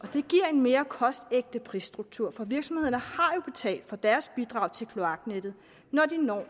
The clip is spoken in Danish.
mere kostægte prisstruktur for virksomhederne har jo betalt for deres bidrag til kloaknettet når de når